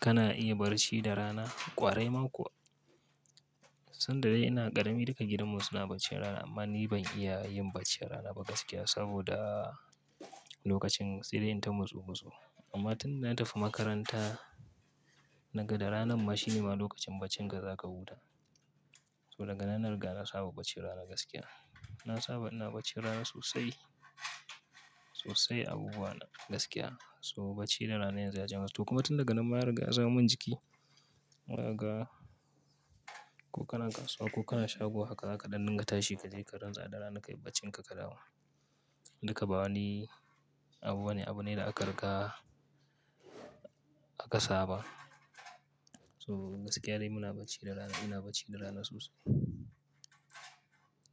Kana iya barci da rana, ƙwarai makowa Sanda dai ina ƙarami duka gidanmu suna baccin rana amma ni ban iya yin baccin rana ba gaskiya saboda lokacin sai dai inta motsu-motsu. Amma tunda na tafi makaranta, naga da ranan ma shi ne ma lokacin baccin da za ka huta. So daga nan na riga na saba bacci rana gaskiya. Na saba ina baccin rana sosai, sosai abubuwa na gaskiya. So bacci da rana yanzu ya ja gaskiya. To kuma tun daga nan ma ya riga ya zamo min jiki. Inaga ko kana kasuwa ko kana shago haka kaɗan nan ka tashi ka je ka rintsa da rana ka yi baccin ka ka dawo. Duka ba wani abu bane abu ne da aka riga aka saba. So gaskiya dai muna bacci da rana, ina bacci da rana sosai.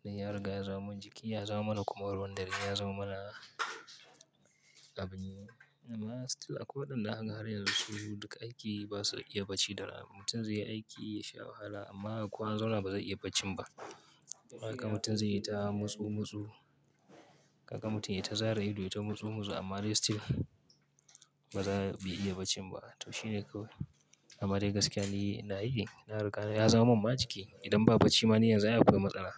Dai ya riga ya zamo min jiki, ya zamo mana kuma ruwan dare, ya zamo mana abu ne. Amma still akwai waɗanda zaka ga har yanzu su duka aiki ba su iya bacci da rana. Mutum zai yi aiki, ya sha wahala amma ko ya zauna ba zai iya bacci ba. Haka mutum zai yi ta motsu-motsu. Haka mutum ya ta zara ido ya ta motsu-motsu amma dai still ba za, bai iya bacci ba. To shine kawai. Amma dai gaskiya ni ina yi, na riga na ya zamo min ma jiki. Idan ba bacci ba ni yanzu ya akwai matsala.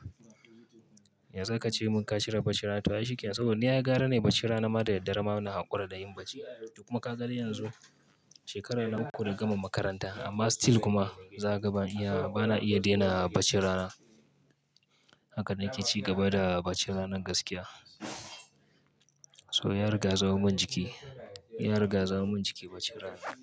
Yanzu ka ce mun ka cire bacci rana to ya shikenan. Saboda ni ya gyara ni bacci rana ma da da daddarema ina haƙura da yin bacci. Duk kuma ka ga dai yanzu shekara ukku gama makaranta amma still kuma za ka ga ban iya, ba na iya daina bacci rana. Haka na ke ci gaba da baccin rana gaskiya. So ya riga ya samo min jiki. Ya riga ya samo min jiki bacci rana.